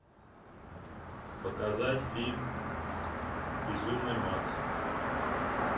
показать фильм безумный макс